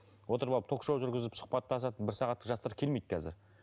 отырып алып ток шоу жүргізіп сұхбаттасатын бір сағаттық жастар келмейді қазір